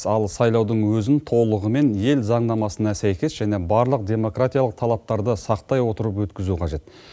ал сайлаудың өзін толығымен ел заңнамасына сәйкес және барлық демократиялық талаптарды сақтай отырып өткізу қажет